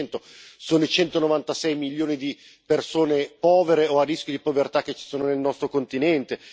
20 sono i 196 milioni di persone povere o a rischio di povertà che ci sono nel nostro continente